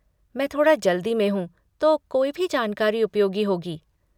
मैं थोड़ा जल्दी में हूँ तो कोई भी जानकारी उपयोगी होगी।